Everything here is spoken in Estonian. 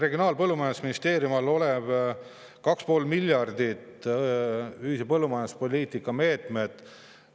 Regionaal- ja Põllumajandusministeeriumi käsutuses on 2,5 miljardi ulatuses ühise põllumajanduspoliitika meetmeid.